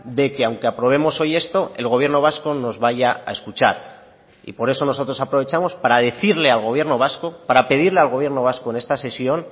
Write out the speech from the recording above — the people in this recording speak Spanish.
de que aunque aprobemos hoy esto el gobierno vasco nos vaya a escuchar y por eso nosotros aprovechamos para decirle al gobierno vasco para pedirle al gobierno vasco en esta sesión